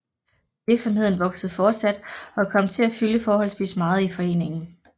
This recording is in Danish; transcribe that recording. Virksomheden voksede fortsat og kom til at fylde forholdsvis meget i foreningen